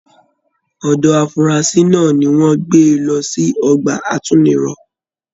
Ọdọ afurasi náà ní wọn gbé lọ sí ọgbà àtúnirọ.